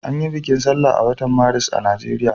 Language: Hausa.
An yi bikin sallah a watan Maris a Najeriya.